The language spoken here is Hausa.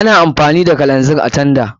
Ana amfani da kero a tanda.